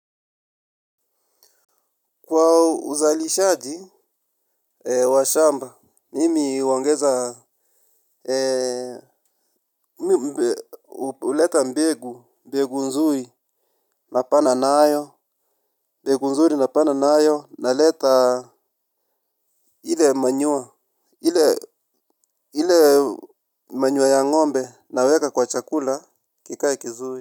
Kwa uzalishaji wa shamba, mimi huongeza, huleta mbegu, mbegu nzuri, napanda nayo, naleta ile manure, ile maure ya ngombe, naweka kwa chakula, kikae kizuri.